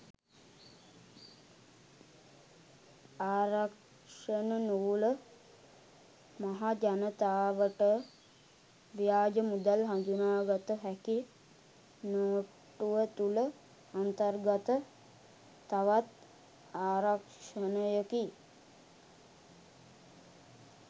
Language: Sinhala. ආරක්ෂණ නූල මහජනතාවට ව්‍යාජ මුදල් හඳුනාගත හැකි නෝට්ටුව තුළ අන්තර්ගත තවත් ආරක්ෂණයකි.